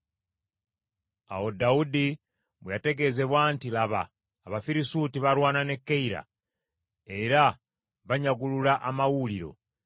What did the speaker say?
Awo Dawudi bwe yategeezebwa nti, “Laba, Abafirisuuti balwana ne Keyira, era banyagulula amawuuliro,”